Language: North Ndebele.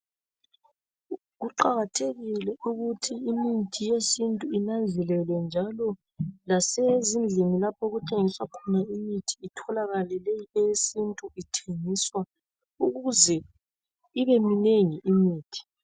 Kuqakathekile ukuthi imithi yesintu inanzelelwe, njalo lasezindlini, lapho okuthengiswa khona imithi, itholakale leyi, eyesintu ithengiswa. Ukuze ibe minengi imithi.